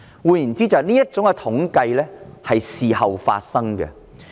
換言之，這些統計調查是事後進行的。